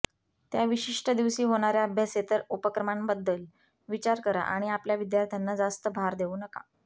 त्या विशिष्ट दिवशी होणार्या अभ्यासेतर उपक्रमांबद्दल विचार करा आणि आपल्या विद्यार्थ्यांना जास्त भार देऊ नका